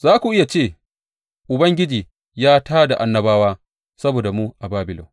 Za ku iya ce, Ubangiji ya tā da annabawa saboda mu a Babilon.